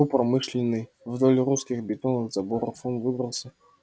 по промышленной вдоль русских бетонных заборов он выбрался